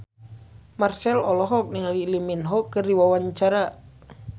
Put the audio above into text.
Marchell olohok ningali Lee Min Ho keur diwawancara